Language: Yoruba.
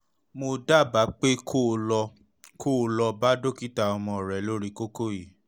mo dábàá pé kó o lọ kó o lọ bá dókítà ọmọ rẹ lórí kókó yìí